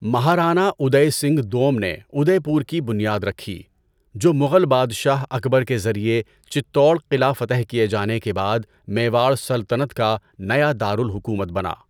مہارانا اُدے سنگھ دوم نے ادے پور کی بنیاد رکھی، جو مغل بادشاہ اکبر کے ذریعے چتور قلعہ فتح کیے جانے کے بعد میواڑ سلطنت کا نیا دار الحکومت بنا۔